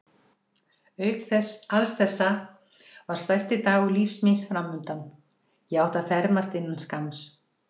Auk alls þessa var stærsti dagur lífs míns framundan: ég átti að fermast innan skamms.